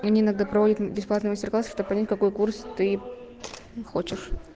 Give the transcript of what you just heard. они иногда проводят бесплатный мастер-класс чтобы понять какой курс ты хочешь